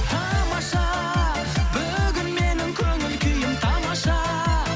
тамаша бүгін менің көңіл күйім тамаша